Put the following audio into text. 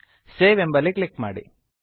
save save ಎಂಬಲ್ಲಿ click ಮಾಡಿ